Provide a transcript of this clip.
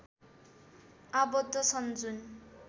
आबद्ध छन् जुन